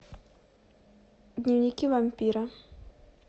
дневники вампира